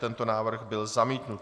Tento návrh byl zamítnut.